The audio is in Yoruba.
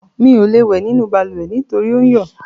Mi ò lè wẹ̀ nínú balùwẹ̀ nítorí ò ń yọ̀.